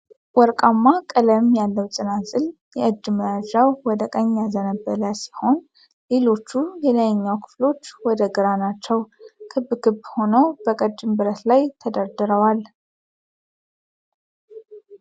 ወርቃማ ቀለም ያለው ጽናጽል፤ የእጅ መይዣው ወደ ቀኝ ያዘነበለ ሲሆን ሊሎቹ የላይኛው ክፍሎች ወደ ግራ ናቸው። ክብ ክብ ሆነው በቀጭን ብረት ላይ ተደርድረዋል።